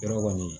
Yɔrɔ kɔni